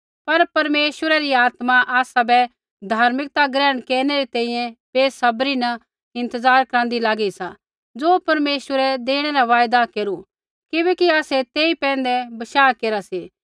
पर परमेश्वरा री आत्मा आसाबै धार्मिकता ग्रहण केरनै री तैंईंयैं बेसब्री न इंतज़ार करांदी लागी सा ज़ो परमेश्वरै देणै रा वायदा केरू किबैकि आसै तेई पैंधै बशाह केरा सी